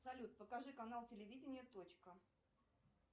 салют покажи канал телевидения точка